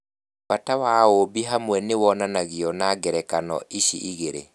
Bata wa ũũmbi hamwe nĩ wonanagio nĩ ngerekano ici igĩrĩ.